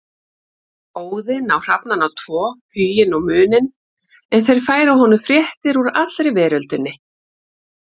Óðinn á hrafnana tvo Huginn og Muninn en þeir færa honum fréttir úr allri veröldinni.